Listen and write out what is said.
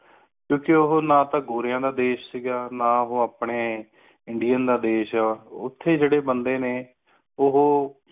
ਕਿਉ ਕ ਉਹ ਨਾ ਤੋਂ ਗੋਰੀਆਂ ਦਾ ਦੇਸ਼ ਸੀ ਗਯਾ ਨਾ ਉਹ ਅਪਣੇ indian ਦਾ ਦੇਸ਼ ਹੈ ਓਥੇ ਜੇੜੇ ਬੰਦੇ ਨੇ ਉਹੋ